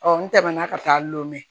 n tɛmɛna ka taa llɔmu mɛn